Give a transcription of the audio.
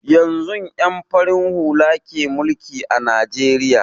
Yanzun ƴan farin hula ke mulki a najeriya